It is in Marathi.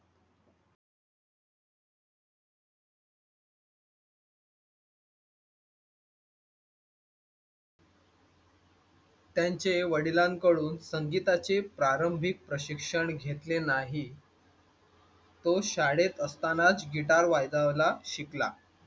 त्यांचे वडिलांकडून संगीताचे प्रारंभीक प्रशिक्षण घेतले नाही तो शाळेत असतानाच गिटार वाजवायला शिकला.